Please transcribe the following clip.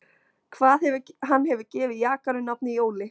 Hann hefur gefið jakanum nafnið Jóli